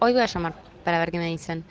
порно